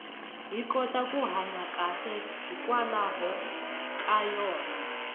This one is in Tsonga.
hi kota ku hanya kahle hikwalaho ka yona